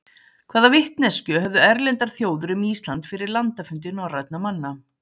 hvaða vitneskju höfðu erlendar þjóðir um ísland fyrir landafundi norrænna manna